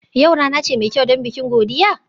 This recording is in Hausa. Yau rana ce mai kyau don bikin godiya?